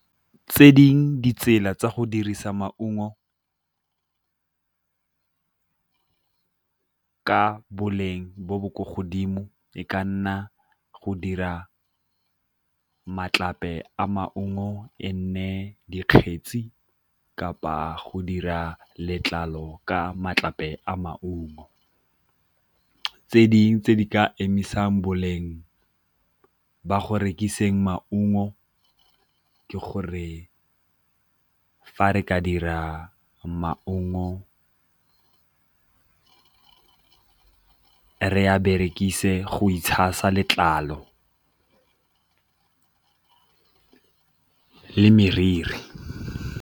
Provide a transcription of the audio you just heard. Tse ding' ditsela tsa go dirisa maungo ka boleng bo bo ko godimo e ka nna go dira matlape a maungo e nne dikgetsi kapa go dira letlalo ka matlape a maungo. Tse dingwe tse di ka emisang boleng ba go rekisetsa maungo ke gore fa re ka dira maungo re a berekise go itshasa letlalo le meriri.